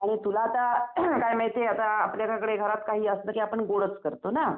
आणि तुला आता काय नाही ते आता आपल्या घरात काही असलं की आपण गोडच करतो ना